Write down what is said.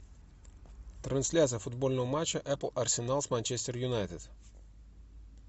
трансляция футбольного матча апл арсенал с манчестер юнайтед